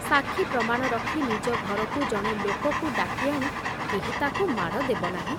ସାକ୍ଷୀ ପ୍ରମାଣ ରଖି ନିଜ ଘରକୁ ଜଣେ ଲୋକକୁ ଡାକି ଆଣି କେହି ତାକୁ ମାଡ଼ ଦେବନାହିଁ।